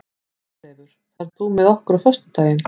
Friðleifur, ferð þú með okkur á föstudaginn?